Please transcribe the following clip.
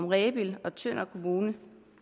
rebild og tønder kommuner